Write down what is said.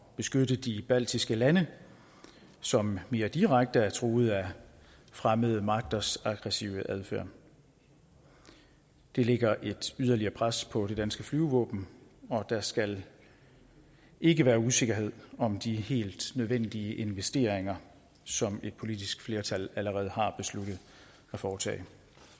beskytte de baltiske lande som mere direkte er truet af fremmede magters aggressive adfærd det lægger et yderligere pres på det danske flyvevåben og der skal ikke være usikkerhed om de helt nødvendige investeringer som et politisk flertal allerede har besluttet at foretage